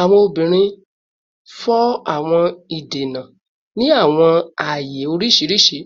Awọn obinrin fọ awọn idena ni awọn aaye oriṣiriṣi,